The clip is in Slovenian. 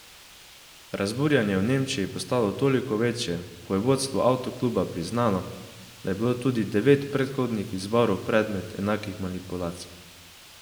Razburjenje v Nemčiji je postalo toliko večje, ko je vodstvo avto kluba priznalo, da je bilo tudi devet predhodnih izborov predmet enakih manipulacij.